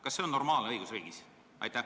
Kas see on normaalne õigusriigis?